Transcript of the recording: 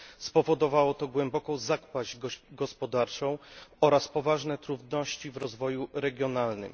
Spowodowało to głęboką zapaść gospodarczą oraz poważne trudności w rozwoju regionalnym.